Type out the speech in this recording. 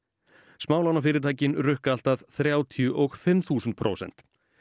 smálánafyrirtækin rukka allt að þrjátíu og fimm þúsund prósent